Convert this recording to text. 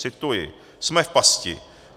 Cituji: "Jsme v pasti.